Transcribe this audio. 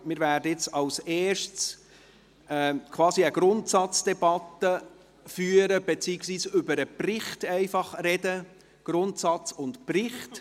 Zuerst werden wir quasi eine Grundsatzdebatte führen, beziehungsweise über den Bericht sprechen – Grundsatz und Bericht.